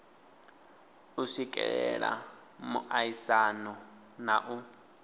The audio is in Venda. u swikelela muaisano na u